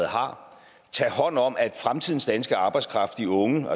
har tage hånd om at fremtidens danske arbejdskraft de unge